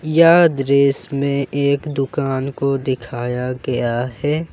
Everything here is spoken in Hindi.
यह दृश्य में एक दुकान को दिखाया गया है।